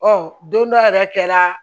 Ɔ don dɔ yɛrɛ kɛra